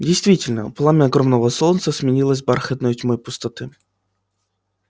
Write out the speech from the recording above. действительно пламя огромного солнца сменилось бархатной тьмой пустоты